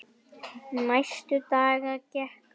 Næstu daga gekk á ýmsu.